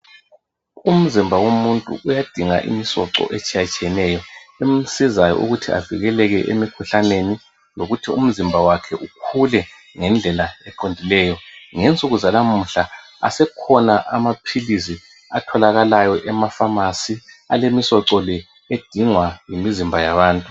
Umzimba womuntu uyadinga imisoco etshiyatshiyeneyo emsizayo ukuthi avikeleke emikhuhlaneni lokuthi umzimba wakhe ukhule ngendlela eqondileyo. Ngensuku zalamuhla asekhona amaphilisi atholakalayo emapharmacy alemisoco le edingwa yimizimba yabantu.